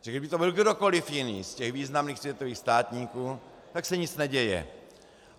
Protože kdyby to byl kdokoli jiný z těch významných světových státníků, tak se nic neděje.